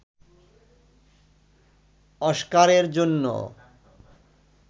অস্কারের জন্য